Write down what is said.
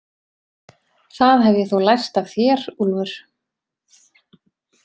Það hef ég þó lært af þér, Úlfur